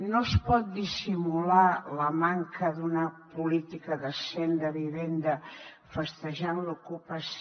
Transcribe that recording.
no es pot dissimular la manca d’una política decent de vivenda festejant l’ocupació